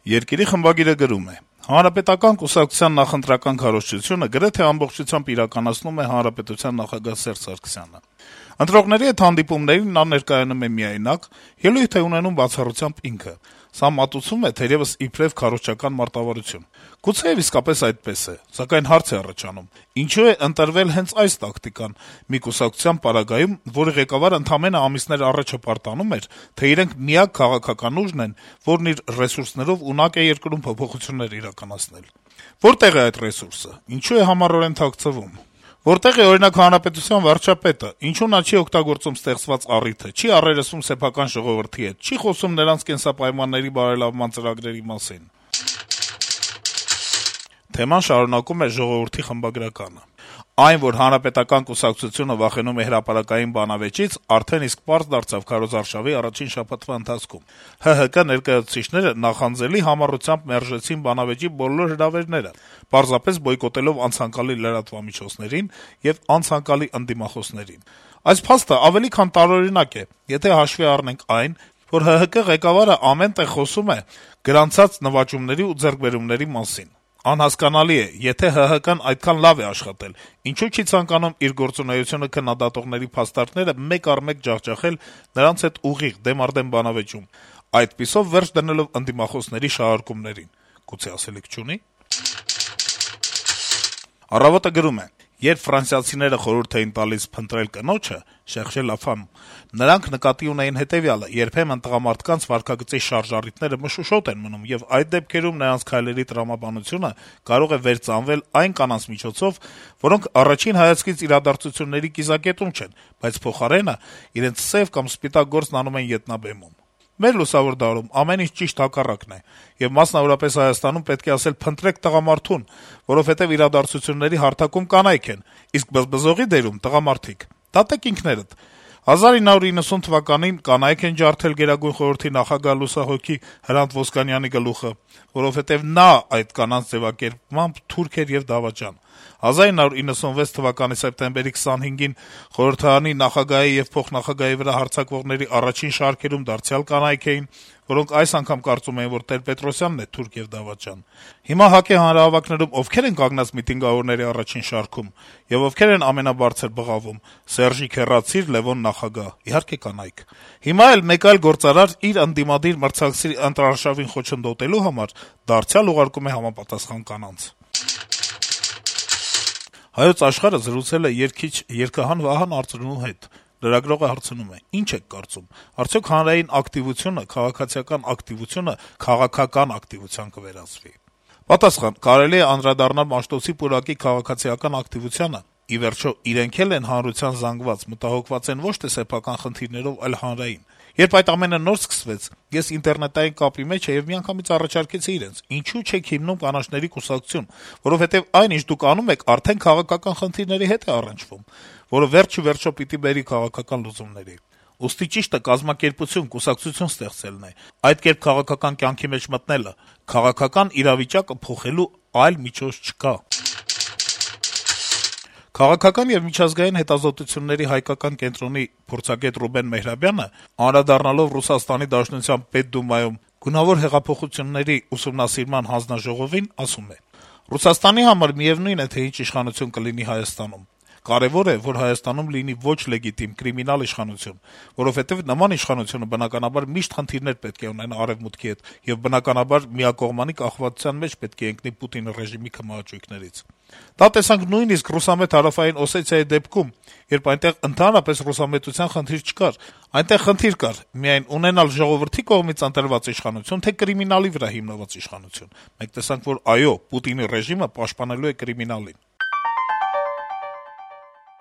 թերթի խմբագիրը գրում է. - «Հանրապետական կուսակցության նախընտրական քարոզչությունը գրեթե ամբողջությամբ իրականացնում է հանրապետության նախագահ Սերժ Սարգսյանը: Ընտրողների հետ հանդիպումներին նա ներկայանում է միայնակ, ելույթ է ունենում բացառությամբ ինքը: Սա մատուցվում է, թերեւս, իբրեւ քարոզչական մարտավարություն: Գուցեեւ իսկապես այդպես է: Սակայն հարց է առաջանում` ինչո՞ւ է ընտրվել հենց այս տակտիկան մի կուսակցության պարագայում, որի ղեկավարն ընդամենը ամիսներ առաջ հպարտանում էր, թե իրենք միակ քաղաքական ուժն են, որն իր ռեսուրսներով ունակ է երկրում փոփոխություններ իրականացնել։ Որտե՞ղ է այդ ռեսուրսը, ինչո՞ւ է համառորեն թաքցվում։ Որտե՞ղ է, օրինակ, հանրապետության վարչապետը, ինչո՞ւ նա չի օգտագործում ստեղծված առիթը, չի առերեսվում սեփական ժողովրդի հետ, չի խոսում նրանց կենսապայմանների բարելավման ծրագրերի մասին»։ Թեման շարունակում է «Ժողովուրդ»-ի խմբագրականը. - «Այն, որ Հանրապետական կուսակցությունը վախենում է հրապարակային բանավեճից, արդեն իսկ պարզ դարձավ քարոզարշավի առաջին շաբաթվա ընթացքում: ՀՀԿ ներկայացուցիչները նախանձելի համառությամբ մերժեցին բանավեճի բոլոր հրավերները` պարզապես բոյկոտելով անցանկալի լրատվամիջոցներին եւ անցանկալի ընդդիմախոսներին: Այս փաստը ավելի քան տարօրինակ է: Եթե հաշվի առնենք այն, որ ՀՀԿ ղեկավարը ամեն տեղ խոսում է գրանցած նվաճումների ու ձեռքբերումների մասին: Անհասկանալի է, եթե ՀՀԿ-ն այդքան լավ է աշխատել, ինչո՞ւ չի ցանկանում իր գործունեությունը քննադատողների փաստարկները մեկ առ մեկ ջախջախել դրանց հետ ուղիղ, դեմ առ դեմ բանավեճում` այդպիսով վերջ դնելով ընդդիմախոսների շահարկումներին: Գուցե ասելիք չունի՞»: «Առավոտ»-ը գրում է. - «Երբ ֆրանսիացիները խորհուրդ են տալիս փնտրել կնոջը (cherchez la femme), նրանք նկատի ունեն հետեւյալը. երբեմն տղամարդկանց վարքագծի շարժառիթները մշուշոտ են մնում, եւ այդ դեպքերում նրանց քայլերի տրամաբանությունը կարող է «վերծանվել» այն կանանց միջոցով, որոնք առաջին հայացքից իրադարձությունների կիզակետում չեն, բայց փոխարենն իրենց սեւ կամ «սպիտակ» գործն անում են ետնաբեմից: Մեր լուսավոր դարում ամեն ինչ ճիշտ հակառակն է, եւ մասնավորապես Հայաստանում պետք է ասել՝ փնտրեք տղամարդուն, որովհետեւ իրադարձությունների «հարթակում» կանայք են, իսկ բզբզողի դերում՝ տղամարդիկ: Դատեք ինքներդ: 1990 թվականին կանայք են ջարդել ԳԽ նախագահ, լուսահոգի Հրանտ Ոսկանյանի գլուխը: Որովհետեւ նա, այդ կանանց ձեւակերպմամբ, «թուրք» էր եւ «դավաճան»: 1996 թվականի սեպտեմբերի 25-ին խորհրդարանի նախագահի ու փոխնախագահի վրա հարձակվողների առաջին շարքերում դարձյալ կանայք էին, որոնք այս անգամ կարծում էին, որ Տեր-Պետրոսյանն է «թուրք» եւ «դավաճան»: Հիմա ՀԱԿ-ի հանրահավաքներում ովքե՞ր են կանգնած միտինգավորների առաջին շարքում, եւ ովքե՞ր են ամենաբարձր բղավում՝ «Սերժիկ, հեռացիր», «Լեւոն, նախագահ»: Իհարկե, կանայք… Հիմա էլ մեկ այլ գործարար՝ իր ընդդիմադիր մրցակցի ընտրարշավին խոչընդոտելու համար, դարձյալ ուղարկում է համապատասխան կանանց»: «Հայոց Աշխարհ»-ը զրուցել է երգիչ, երգահան Վահան Արծրունու հետ: Լրագրողը հարցնում է. - «Ինչ եք կարծում, արդյոք հանրային ակտիվությունը, քաղաքացիական ակտիվությունը քաղաքական ակտիվության կվերածվի՞»: Պատասխան. - «Կարելի է անդրադառնալ Մաշտոցի պուրակի քաղաքացիական ակտիվությանը, ի վերջո, իրենք էլ են հանրության զանգված, մտահոգված են ոչ թե սեփական խնդիրներով, այլ հանրային: Երբ այդ ամենը նոր սկսվեց, ես ինտերնետային կապի մեջ էի եւ միանգամից առաջարկեցի իրենց` ինչո՞ւ չեք հիմնում կանաչների կուսակցություն, որովհետեւ այն, ինչ դուք անում եք, արդեն քաղաքական խնդիրների հետ է առնչվում, որը վերջիվերջո պիտի բերի քաղաքական լուծումների: Ուստի ճիշտը կազմակերպություն, կուսակցություն ստեղծելն է, այդ կերպ քաղաքական կյանքի մեջ մտնելը: Քաղաքական իրավիճակը փոխելու այլ միջոց չկա»: Քաղաքական եւ միջազգային հետազոտությունների հայկական կենտրոնի փորձագետ Ռուբեն Մեհրաբյանը, «Ժամանակ» թերթի հարցազրույցում անդրադառնալով ՌԴ Պետդումայում գունավոր հեղափոխությունների ուսումնասիրման հանձնաժողովին, ասում է. - «Ռուսաստանի համար միեւնույն է, թե ինչ իշխանություն կլինի Հայաստանում: Կարեւոր է, որ Հայաստանում լինի ոչ լեգիտիմ, կրիմինալ իշխանություն, որովհետեւ նման իշխանությունը, բնակաբար, միշտ խնդիրներ պետք է ունենա Արեւմուտքի հետ եւ, բնականաբար, միակողմանի կախվածության մեջ պետք է ընկնի Պուտինի ռեժիմի քմահաճույքներից: Դա տեսանք նույնիսկ ռուսամետ Հարավային Օսեթիայի դեպքում, երբ այնտեղ ընդհանրապես ռուսամետության խնդիր չկար: Այնտեղ խնդիր կար միայն` ունենալ ժողովրդի՞ կողմից ընտրված իշխանություն, թե՞ կրիմինալի վրա հիմնված իշխանություն: Մենք տեսանք, որ այո', Պուտինի ռեժիմը պաշտպանելու է կրիմինալին»: